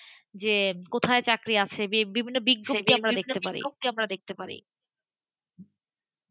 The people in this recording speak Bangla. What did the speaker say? যে কোথায় চাকরি আছেভিন্ন বিজ্ঞপ্তি আমরা দেখতে পাই,